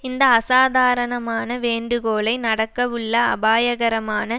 இந்த அசாதாரணமான வேண்டுகோலை நடக்கவுள்ள அபாயகரமான